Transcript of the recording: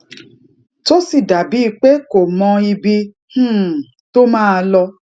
tó sì dà bíi pé kò mọ ibi um tó máa lọ